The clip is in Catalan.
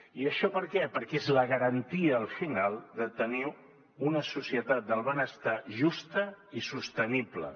i això per què perquè és la garantia al final de tenir una societat del benestar justa i sostenible